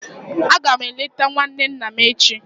Aga m eleta nwanne nna m echi.